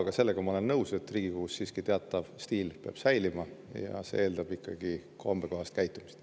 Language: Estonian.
Aga sellega ma olen nõus, et Riigikogus siiski teatav stiil peab säilima ja see eeldab ikkagi kombekohast käitumist.